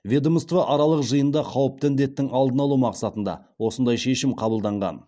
ведомствоаралық жиында қауіпті індеттің алдын алу мақсатында осындай шешім қабылданған